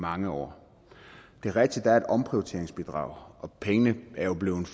mange år det er rigtigt at der er et omprioriteringsbidrag og pengene er jo blevet